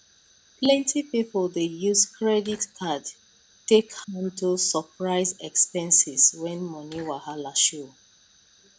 plenty people dey use credit card take handle surprise expenses when money wahala show